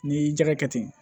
N'i y'i jalakɛ ten